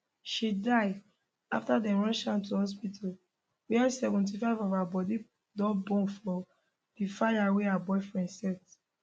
she die afta dem rush am to hospital wia 75 of her body don burn for di fire wey her boyfriend set